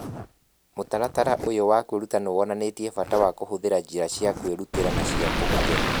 Mũtaratara ũyũ wa kwĩruta nĩ wonanĩtie bata wa kũhũthĩra njĩra cia kwĩrutĩra na cia kũhũthĩra.